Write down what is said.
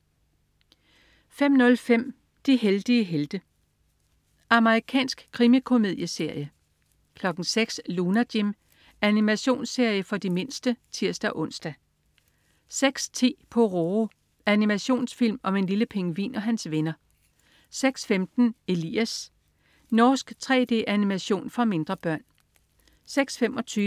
05.05 De heldige helte. Amerikansk krimikomedieserie 06.00 Lunar Jim. Animationsserie for de mindste (tirs-ons) 06.10 Pororo. Animationsfilm om en lille pingvin og hans venner 06.15 Elias. Norsk 3D-animation for mindre børn